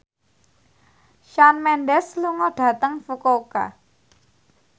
Shawn Mendes lunga dhateng Fukuoka